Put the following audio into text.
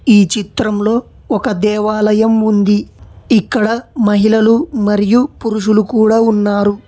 ఈ చిత్రంలో ఒక దేవాలయం ఉంది ఇక్కడ మహిళలు మరియు పురుషులు కూడా ఉన్నారు.